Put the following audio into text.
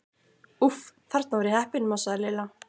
Úff, þarna var ég heppin másaði Lilla.